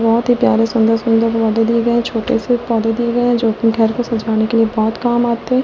बहुत ही प्यारे सुंदर सुंदर पौधे दिए गए हैं छोटे से पौधे दिए गए हैं जो अपने घर को सजाने के लिए बहुत काम आते हैं।